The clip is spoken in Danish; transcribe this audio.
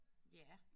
Ja